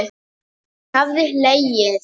Hann hafði hlegið.